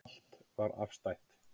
Allt var afstætt.